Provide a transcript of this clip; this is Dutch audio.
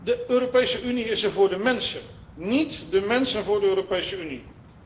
De Europese Unie is er voor de mensen, níet de mensen voor de Europese Unie.